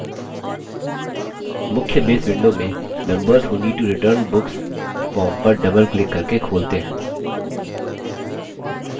मुख्य base window में members who need to return books form पर double क्लिक करके खोलते हैं